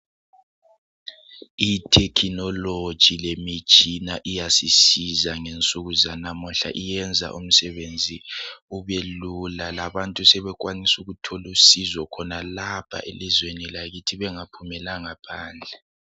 Ithekhinoloji lemitshina iyasisiza ngensuku zanamuhla iyenza umsebenzi ubelula labantu sebekwanisa ukuthola usizo khonalapha elizweni lakithi bengaphumelanga phandle